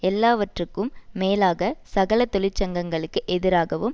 எல்லாவற்றுக்கும் மேலாக சகல தொழிற்சங்கங்களுக்கு எதிராகவும்